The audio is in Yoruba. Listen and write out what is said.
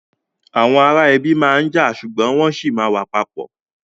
Àwọn ará ẹbi máa n já ṣugbọn wọn sì ma wa papọ.